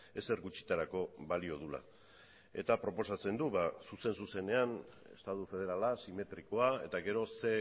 ezer gutxitarako balio duela eta proposatzen du ba zuzen zuzenean estadu federala simetrikoa eta gero ze